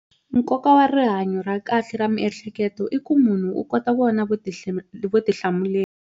Nkoka wa rihanyo ra kahle ra miehleketo i ku munhu u kota vona vutihlamuleri.